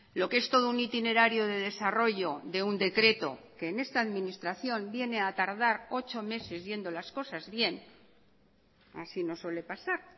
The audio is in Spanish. lo que es todo un itinerario de desarrollo de un decreto que en esta administración viene a tardar ocho meses yendo las cosas bien así nos suele pasar